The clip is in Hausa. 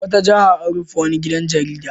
A wata jiha an rufe wani gidan jarida.